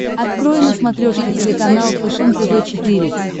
открой на смотрешке телеканал фэшен тв четыре к